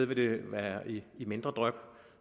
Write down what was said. vil det være i mindre dryp